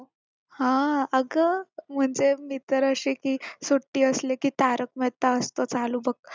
हा अगं म्हणजे मी तर आशि की सुट्टी असली की तारक मेहता असत चालू बघ